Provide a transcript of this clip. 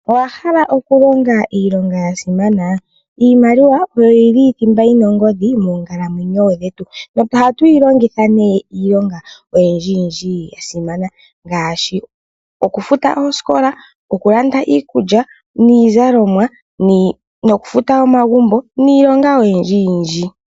Owahala iilonga yasimana? Iimaliwa oyo yili thimba yina ongodhi moonkalamwenyo dhetu. Ohatuyilongitha nee iilonga oyindji yindji yasimana ngaashi: okufuta oosikola, okulanda iikulya niizalomwa nokufuta omagumbo niilonga oyindji yindji.